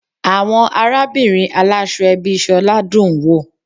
Àwọn arábìnrin aláṣọ ẹbí Sola dùn-ún wò.